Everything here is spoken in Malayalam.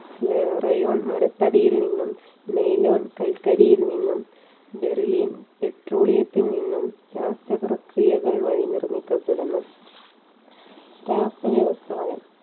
rayon മരത്തടിയിൽ നിന്നും നെയിൽ ഓൺ കൽക്കരിയിൽ നിന്നു derlion പെട്രോളിയത്തിൽ നിന്നും രാസപ്രക്രിയകൾ വഴി നിർമ്മിക്കപ്പെടുന്നു.